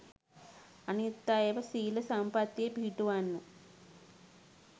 අනිත් අයව සීල සම්පත්තියේ පිහිටුවන්න